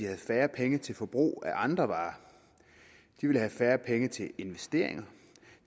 have færre penge til forbrug af andre varer de ville have færre penge til investeringer